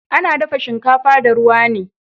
Ana dafa shinkafa da ruwa ne